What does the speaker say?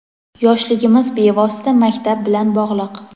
yoshligimiz bevosita maktab bilan bog‘liq.